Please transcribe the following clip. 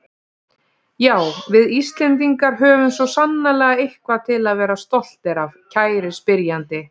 Já, við Íslendingar höfum svo sannarlega eitthvað til að vera stoltir af, kæri spyrjandi.